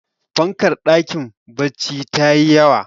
fankar dakin baccin ta yi yawa